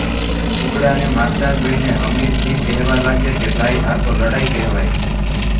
કુકડાને મારતા જોઈને હમીરજી કહેવા લાગ્યા કે ભાઈ આ તો લડાઈ કહેવાય